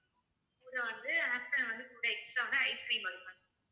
அப்புறம் வந்து afternoon வந்து food extra வந்து ice cream வரும் ma'am